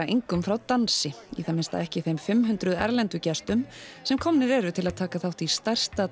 engum frá dansi í það minnsta ekki þeim fimm hundruð erlendu gestum sem komnir eru til að taka þátt í stærsta